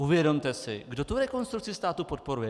Uvědomte si, kdo tu Rekonstrukci státu podporuje.